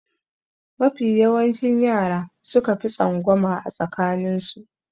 Mafi yawancin yara suka fi tsangwama a tsakanin su.